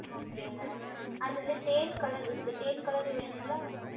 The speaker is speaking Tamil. Okay Madam அதில் தேன் Color இருக்கிறது தேன் Color வேண்டுமா